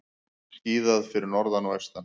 Skíðað fyrir norðan og austan